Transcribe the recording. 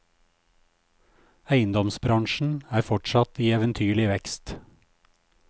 Eiendomsbransjen er fortsatt i eventyrlig vekst.